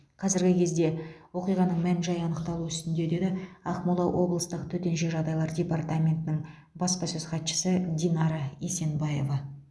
қазіргі кезде оқиғаның мән жайы анықталу үстінде деді ақмола облыстық төтенше жағдайлар департаментінің баспасөз хатшысы динара есенбаева